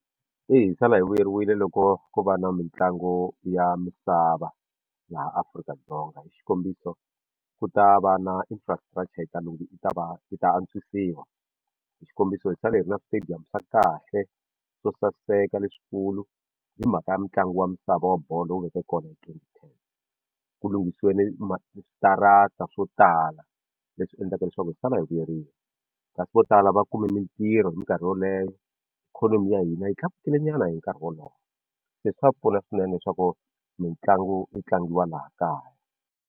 Eya hi sala hi vuyeriwile loko ko va na mitlangu ya misava laha Afrika-Dzonga hi xikombiso ku ta va na infrastructure yi ta yi ta va yi ta antswisiwa hi xikombiso hi sale hi ri na stadium swa kahle swo saseka leswikulu hi mhaka ya mitlangu wa misava wa bolo lowu veke kona hi twenty ten ku lunghisiwe na switarata swo tala leswi endlaka leswaku hi sala hi vuyeriwa kasi vo tala va kume mintirho hi minkarhi yoleyo ikhonomi ya hina yi tlakukile nyana hi nkarhi wolowo se swa pfuna swinene leswaku mitlangu yi tlangiwa laha kaya.